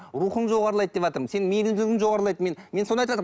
рухың жоғарлайды деватырмын сенің мейірімділігің жоғарлайды мен мен соны айтыватырмын